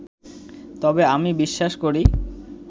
তবে আমি বিশ্বাস করি